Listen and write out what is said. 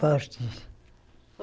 Fortes.